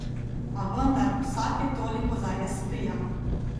A vendar, vsake toliko zares prija.